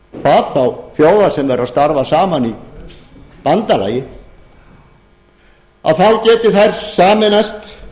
hvað þá þjóða sem eru að starfa saman í bandalagi þá geti þær sameinast